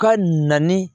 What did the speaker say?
Ka na ni